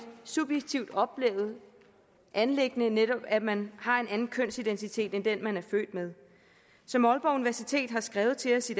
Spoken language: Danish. subjektivt oplevet anliggende netop at man har en anden kønsidentitet end den man er født med som aalborg universitet har skrevet til os i